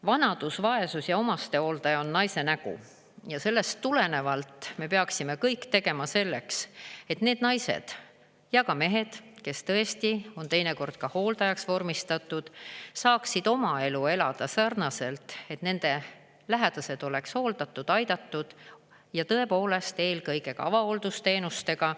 Vanadus, vaesus ja omastehooldaja on naise nägu ja sellest tulenevalt me peaksime kõik tegema selleks, et need naised ja ka mehed, kes tõesti on teinekord ka hooldajaks vormistatud, saaksid oma elu elada sarnaselt, et nende lähedased oleks hooldatud, aidatud ja tõepoolest eelkõige ka avahooldusteenustega.